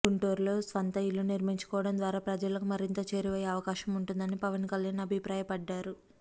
గుంటూరులో స్వంత ఇల్లు నిర్మించుకోవడం ద్వారా ప్రజలకు మరింత చేరువయ్యే అవకాశం ఉంటుందని పవన్ కళ్యాణ్ అభిప్రాయపడ్డారు